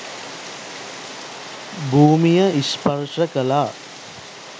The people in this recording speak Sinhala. භූමිය ස්පර්ශ කළා.